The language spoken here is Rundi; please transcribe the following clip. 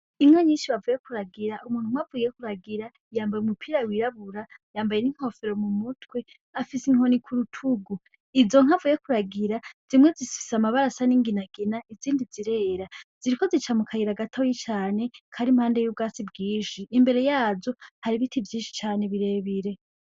Inko nyinshi bavuye kuragira umuntu mwavuye kuragira yambaye umupira wirabura yambaye n'inkofero mu mutwe afise inkoni k'urutugu izo nkavuye kuragira zimwe zisise amabarasa n'inginagina izindi zirera ziriko zica mu kayira gatawi cane kari impande y'ubwasi bwinshi imbere yazo hari ibiti ivyinshi cane birebire.